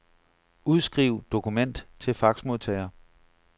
Udskriv dokument til faxmodtager.